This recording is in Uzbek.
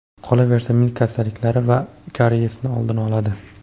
Qolaversa, milk kasalliklari va kariyesni oldini oladi.